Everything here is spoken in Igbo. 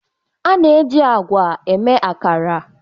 A na-eji agwa eme akara